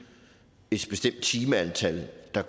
bestemt timeantal der